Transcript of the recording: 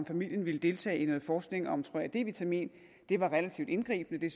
familien ville deltage i noget forskning om tror jeg d vitamin det var relativt indgribende det